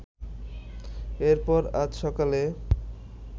এরপর আজ সকালে